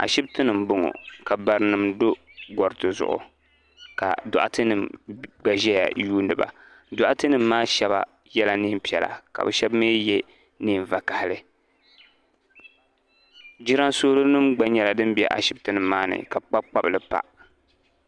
Ashiptini m boŋɔ ka barinima do goriti zuɣu ka doɣate nima gba ʒɛya yuuni ba doɣate nima maa sheba yela niɛn'piɛla sheba mee ye niɛn vakahali jiransolo nima gba be ashipti nima maani ka bɛ kpabi kpanili pa.